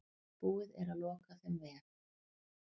Búið er að loka þeim vef.